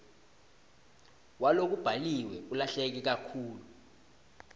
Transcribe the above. walokubhaliwe ulahleke kakhulu